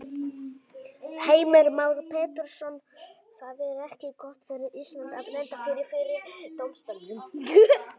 Heimir Már Pétursson: Það er ekki gott fyrir Ísland að lenda fyrir, fyrir dómstólnum?